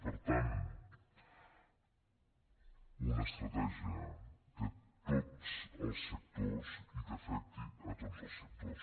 per tant una estratègia de tots els sectors i que afecti a tots els sectors